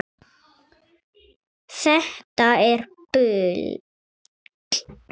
Þetta er bull.